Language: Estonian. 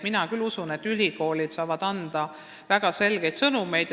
Mina usun, et ülikoolid saavad anda väga selgeid sõnumeid.